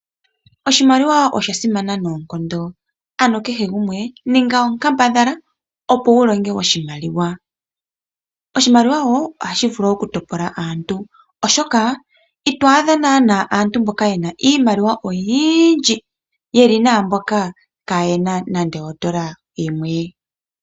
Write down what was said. Oshimaliwa osha simana noonkondo ano kehe gumwe ninga onkambadhala opo wu longe oshimaliwa. Oshimaliwa wo ohashi vulu okutopola aantu oshoka ito adha naana aantu mboka ye na iimaliwa oyiindji ye li naamboka kaaye na nande ondola yimwe.